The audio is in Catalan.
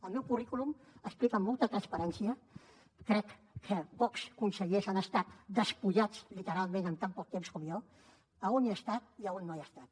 el meu currículum explica amb molta transparència crec que pocs consellers han estat despullats literalment en tan poc temps com jo a on he estat i a on no he estat